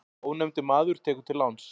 Ónefndur maður tekur til láns.